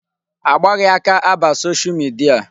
A gbaghị aka aba Social media.